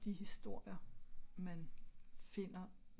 de historier man finder